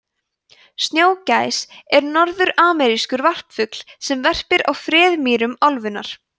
snjógæs er norðuramerískur varpfugl sem verpir á freðmýrum álfunnar